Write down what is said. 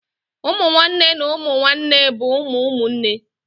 Ụmụ nwanne na ụmụ nwanne bụ ụmụ ụmụnne